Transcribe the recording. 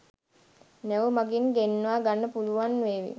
නැව් මගින් ගෙන්නා ගන්න පුළුවන් වේවි